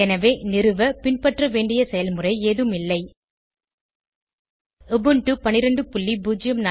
எனவே நிறுவ பின்பற்ற வேண்டிய செயல்முறை ஏதும் இல்லை உபுண்டு 1204